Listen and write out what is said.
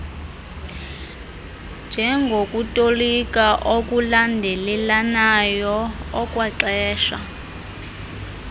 njengokutolika okulandelelanayo okwaxesha